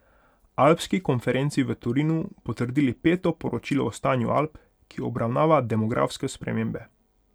Alpski konferenci v Torinu potrdili peto Poročilo o stanju Alp, ki obravnava demografske spremembe.